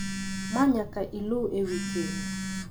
ma nyaka iluw e wi keny.